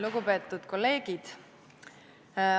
Lugupeetud kolleegid!